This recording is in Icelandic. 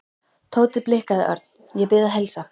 Tóti blikkaði Örn. Ég bið að heilsa